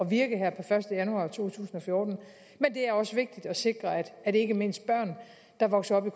virke her per første januar to tusind og fjorten men det er også vigtigt at sikre at ikke mindst børn der vokser op